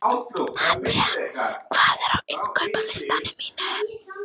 Nadia, hvað er á innkaupalistanum mínum?